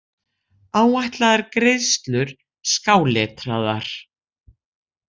Áætlaðar greiðslur skáletraðar.